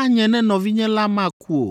anye ne nɔvinye la meku o.